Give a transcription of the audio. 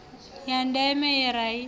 ya deme ye ra i